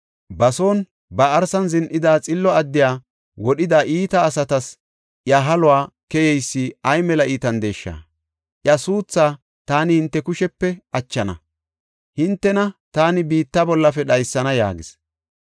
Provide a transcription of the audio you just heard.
Ba son ba arsan zin7ida xillo addiya wodhida iita asatas iya haluwa keyeysi ay mela iitandesha! Iya suuthaa taani hinte kushepe achana; hintena taani biitta bollafe dhaysana!” yaagis.